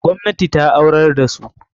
Gwamnati ta aurar da su.